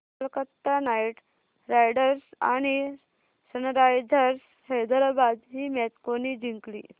Kolkata Knight Riders आणि Sunrisers Hyderabad ही match कोणी जिंकली